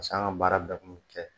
an ka baara bɛɛ kun bɛ kɛ